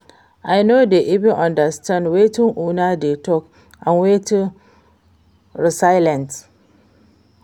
I no dey even understand wetin una dey talk and wetin be resilience?